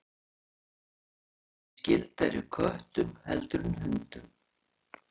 Hýenur eru því skyldari köttum heldur en hundum.